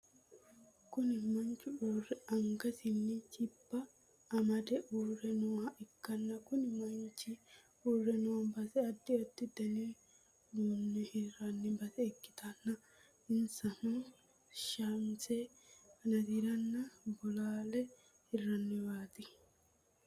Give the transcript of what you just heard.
Kuni manchi urre angasinni jibba amade uure nooha ikkanna kuni manchchi uure noo base adda adda Dani uduunne hirranni base ikkitanna insano shamise kanateranna bolaale hiranniwaati